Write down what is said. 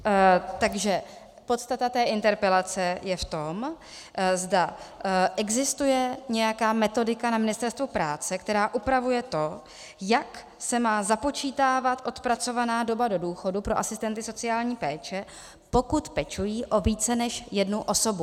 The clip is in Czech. Takže podstata té interpelace je v tom, zda existuje nějaká metodika na Ministerstvu práce, která upravuje to, jak se má započítávat odpracovaná doba do důchodu pro asistenty sociální péče, pokud pečují o více než jednu osobu.